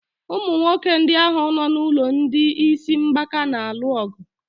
Ụmụ nwoke ndị ahụ nọ n'ụlọ ndị isi mgbaka na-alu ọgụ.